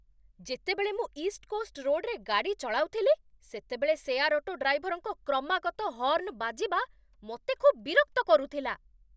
ଯେତେବେଳେ ମୁଁ east coast ରୋଡ଼୍‌ରେ ଗାଡ଼ି ଚଳାଉଥିଲି, ସେତେବେଳେ ସେୟାର୍ ଅଟୋ ଡ୍ରାଇଭର୍‌ଙ୍କ କ୍ରମାଗତ ହର୍ଣ୍ଣ ବାଜିବା ମୋତେ ଖୁବ୍ ବିରକ୍ତ କରୁଥିଲା।